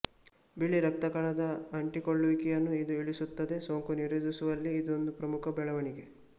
ಬಿಳಿರಕ್ತ ಕಣದ ಅಂಟಿಕೊಳ್ಳುವಿಕೆಯನ್ನು ಇದು ಇಳಿಸುತ್ತದೆ ಸೋಂಕು ನಿರೋಧಿಸುವಲ್ಲಿ ಇದೊಂದು ಪ್ರಮುಖ ಬೆಳವಣಿಗೆ